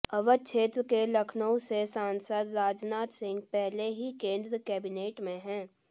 अवध क्षेत्र के लखनऊ से सांसद राजनाथ सिंह पहले ही केंद्रीय कैबिनेट में हैं